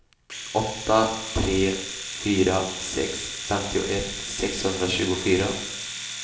åtta tre fyra sex femtioett sexhundratjugofyra